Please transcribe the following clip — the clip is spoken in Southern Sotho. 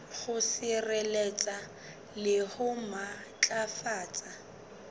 ho sireletsa le ho matlafatsa